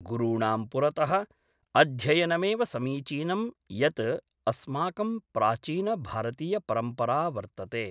गुरूणां पुरतः अध्ययनमेव समीचीनं यत् अस्माकं प्राचीनभारतीयपरम्परा वर्तते